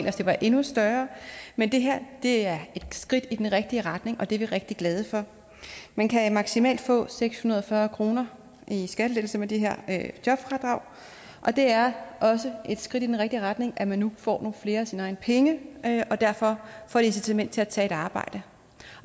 at det var endnu større men det her er et skridt i den rigtige retning og det er vi rigtig glade for man kan maksimalt få seks hundrede og fyrre kroner i skattelettelse med det her jobfradrag og det er også et skridt i den rigtige retning at man nu får flere af sine egne penge og derfor får et incitament til at tage et arbejde